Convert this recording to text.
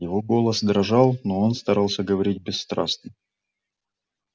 его голос дрожал но он старался говорить бесстрастно